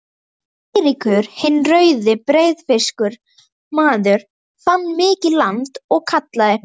Eiríkur hinn rauði, breiðfirskur maður, fann mikið land og kallaði